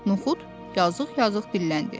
Nuxud yazıq-yazıq dilləndi.